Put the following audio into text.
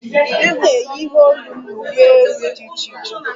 M na-eyi ihe olu m na uwe elu di iche iche